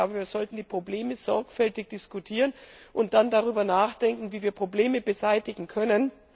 Wir sollten die Probleme sorgfältig diskutieren und dann darüber nachdenken, wie wir Probleme beseitigen können.